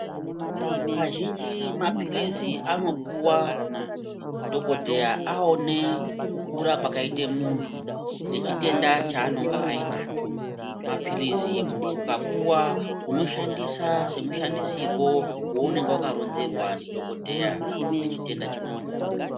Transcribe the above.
Kazhinji mapirizi anopuwa dhokodheaa aone kukura kwakaite muntu nechitenda chaanonga ainacho mapiizi ukapuwa unoshandisa semushandisirwo weunonga wakaronzerwa ndidhokodheya kuti chitenda chipone.